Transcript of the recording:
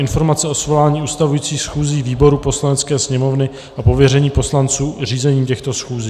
Informace o svolání ustavujících schůzí výborů Poslanecké sněmovny a pověření poslanců řízením těchto schůzí